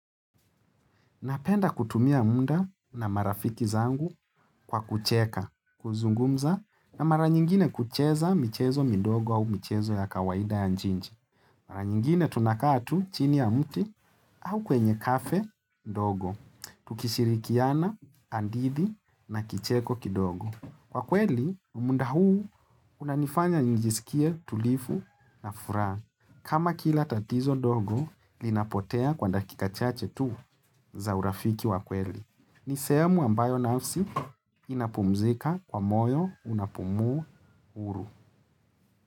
Napenda kutumia muda na marafiki zangu kwa kucheka, kuzungumza na mara nyingine kucheza mchezo midogo au michezo ya kawaida ya njinji. Mara nyingine tunakaa tu chini ya mti au kwenye kafe mdogo, tukishirikiana, hadithi na kicheko kidogo. Kwa kweli, muda huu unanifanya njisikie tulivu na furaha. Kama kila tatizo dogo, linapotea kwa dakika chache tu za urafiki wa kweli. Ni sehemu ambayo nafsi inapumzika kwa moyo unapumua huru.